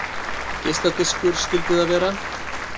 Geisladiskur skyldi það vera.